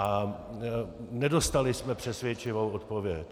A nedostali jsme přesvědčivou odpověď.